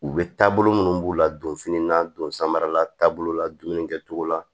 U bɛ taabolo minnu b'u la donfini na don samara taabolo la dumuni kɛcogo la